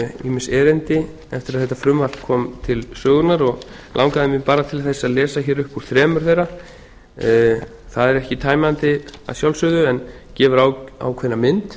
ýmis erindi eftir að þetta frumvarp kom til sögunnar og langaði mig bara til þess að lesa hér upp úr þremur þeirra það er ekki tæmandi að sjálfsögðu en gefur ákveðna mynd